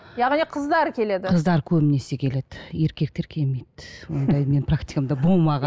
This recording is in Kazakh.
яғни қыздар келеді қыздар көбінесе келеді еркектер келмейді ондай менің практикамда болмаған